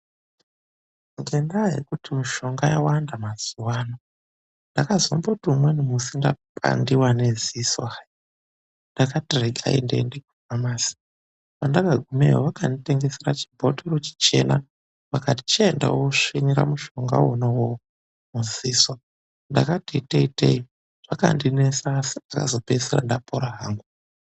Ngendaa yekuti mushonga yawanda mazuwa ano, ndakazomboti umweni musi ndapandiwa ngedziso hayi. Ndakati regai ndiende kufamasi. Pandakagumeyo vakanditengesera chibhothoro chichena, vakati chienda woosvinira mushonga wona uwowo mudziso. Ndakati iteyi, iteyi, zvakandinesa, asi ndakapedzisira ndapora hangu.